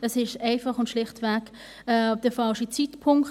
Das ist schlicht und einfach der falsche Zeitpunkt.